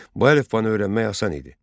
Bu əlifbanı öyrənmək asan idi.